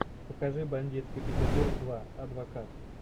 покажи бандитский петербург два адвокат